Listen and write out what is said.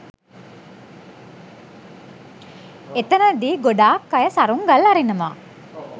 එතැනදී ගොඩාක් අය සරුංගල් අරිනවා.